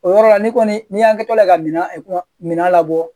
O yɔrɔ la ni kɔni n'i y'an kɛ kila ka mina minan labɔ